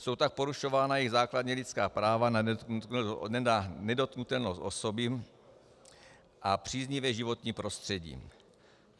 Jsou tak porušována jejich základní lidská práva na nedotknutelnost osoby a příznivé životní prostředí.